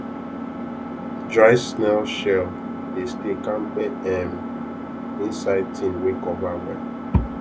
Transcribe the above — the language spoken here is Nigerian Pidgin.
dry snail shell dey stay kampe um inside tin wey cover well